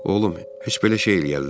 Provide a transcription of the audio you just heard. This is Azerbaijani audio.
Oğlum, heç belə şey eləyərlər?